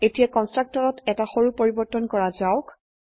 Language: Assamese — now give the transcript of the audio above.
এতিয়া কন্সট্ৰকটৰত এটা সৰু পৰিবৰ্তন কৰা যাওক